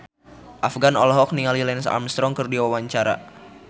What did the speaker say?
Afgan olohok ningali Lance Armstrong keur diwawancara